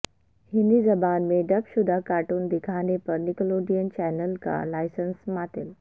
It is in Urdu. ہندی زبان میں ڈب شدہ کارٹون دکھانے پر نکلوڈیئن چینل کا لائسنس معطل